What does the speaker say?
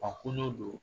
A kolo don